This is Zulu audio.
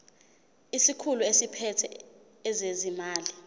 isikhulu esiphethe ezezimali